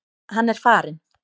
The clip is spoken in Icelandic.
Hann er farinn.